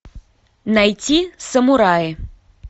найти самураи